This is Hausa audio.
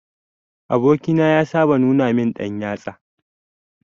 Aboki na ya saba nuna min dan yatsa.